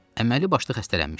Əməli başlı xəstələnmişdim.